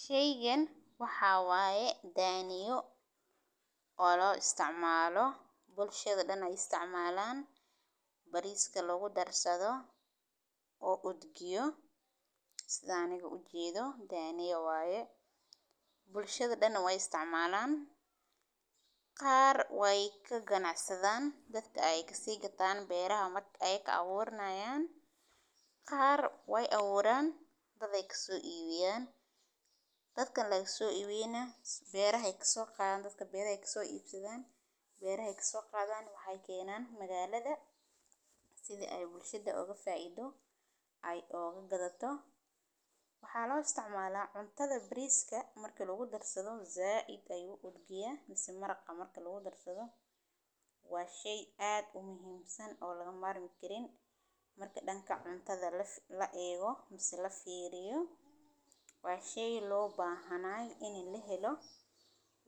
Sheygan waxaa waye daaniyo oo la isticmaalo bulshada dhan ay isticmaalaan bariiska lagu darsado oo udgiyo sidaaniga u jiidho. Daaniya waye bulshada dhan way isticmaalaan qaar way ka ganacsi daan dadka ay kaga taan beeraha mat ay ka awoodnaayeen. Qaar way awoodaan dad ay ka soo iibiyaan. Dadkan lagu soo iibiyanaa, beerahay ka soo qaadan dadka beeray ka soo iibsadaan. Beerahay ka soo qaadan waxay keenaan magaalada side ay bulshadeed oga faaiido ay oga gadato. Waxaa loo isticmaalaa cuntada bariiska markii lagu darsado zaaid ay u odgeyaa misni maraq markii lagu darsado. Waay shay aad u muhiimsan oo laga maarmi karin marka dhanka cuntada la eego mis la fiiriyo. Waay shay loo baahanay inay leelo.